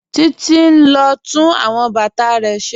Títí n lọ tún awọn bátà rẹ̀ ṣẹ́.